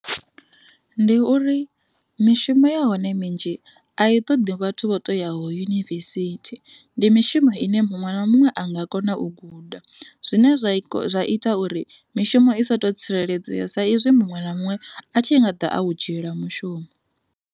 Ndi uri mishumo ya hone minzhi a i toḓi vhathu vho toyaho yunivesithi ndi mishumo ine muṅwe na muṅwe a nga kona u guda zwine zwa ita uri mishumo i sa tu tsireledzea sa izwi muṅwe na muṅwe a tshi i nga ḓa a u dzhiela mushumo.